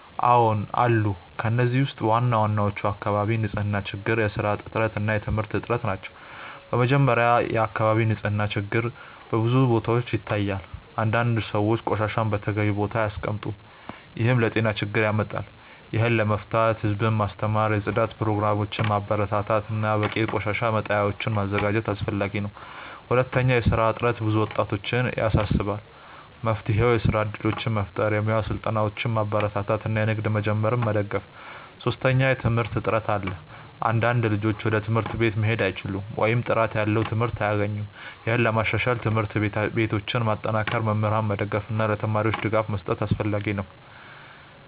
አዎን አሉ። ከእነዚህ ውስጥ ዋናዎቹ የአካባቢ ንፅህና ችግር፣ የስራ እጥረት እና የትምህርት እጥረት ናቸው። በመጀመሪያ፣ የአካባቢ ንፅህና ችግር በብዙ ቦታዎች ይታያል። አንዳንድ ሰዎች ቆሻሻን በተገቢው ቦታ አያስቀምጡም፣ ይህም ለጤና ችግር ያመጣል። ይህን ለመፍታት ህዝቡን ማስተማር፣ የጽዳት ፕሮግራሞችን ማበረታታት እና በቂ የቆሻሻ መጣያዎችን ማዘጋጀት አስፈላጊ ነው። ሁለተኛ፣ የስራ እጥረት ብዙ ወጣቶችን ያሳስባል። መፍትሄው የስራ እድሎችን መፍጠር፣ የሙያ ስልጠናዎችን ማበረታታት እና ንግድ መጀመርን መደገፍ ነው። ሶስተኛ፣ የትምህርት እጥረት አለ። አንዳንድ ልጆች ወደ ትምህርት ቤት መሄድ አይችሉም ወይም ጥራት ያለው ትምህርት አያገኙም። ይህን ለማሻሻል ትምህርት ቤቶችን ማጠናከር፣ መምህራንን መደገፍ እና ለተማሪዎች ድጋፍ መስጠት አስፈላጊ ነው።